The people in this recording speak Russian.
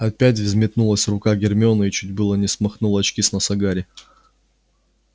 опять взметнулась рука гермионы и чуть было не смахнула очки с носа гарри